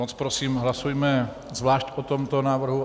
Moc prosím, hlasujme zvlášť o tomto návrhu.